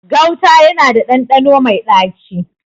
Gauta yana da ɗanɗano mai ɗaci.